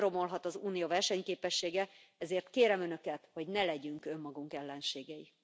Nem romolhat az Unió versenyképessége, ezért kérem önöket, hogy ne legyünk önmagunk ellenségei.